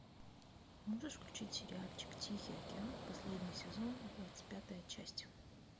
можешь включить сериальчик тихий океан последний сезон двадцать пятая часть